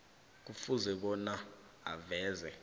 kufuze bona aveze